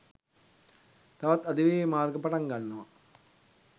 තවත් අධිවේගී මාර්ග පටන් ගන්නවා.